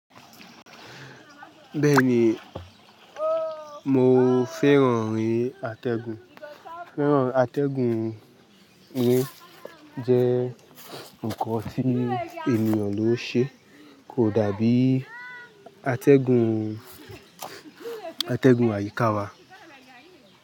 Bẹ́ẹ̀ ni, mo fẹ́ràn ri atẹ́gùn. Àtẹ́gùn mi jẹ́ nǹkan tí ènìyàn ló ṣe. Kò dábí atẹ́gùn, atẹ́gùn àyíká wa.